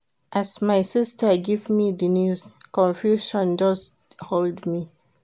As my sista give me di news, confusion just hold me.